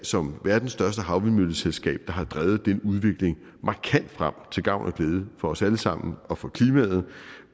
som verdens største havvindmølleselskab har drevet den udvikling markant frem til gavn og glæde for os alle sammen og for klimaet